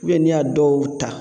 n'i y'a dɔw ta